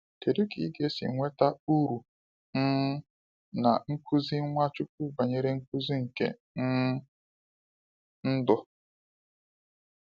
Kedụ ka ịga esi nweta uru um na nkuzi Nwachukwu banyere nkuzi nke um ndụ?